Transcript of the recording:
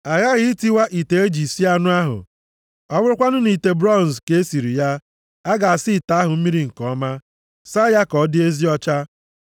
A ghaghị itiwa ite aja e ji sie anụ ahụ. Ọ bụrụkwanụ nʼite bronz ka e siri ya, a ga-asa ite ahụ mmiri nke ọma, saa ya ka ọ dị ezi ọcha.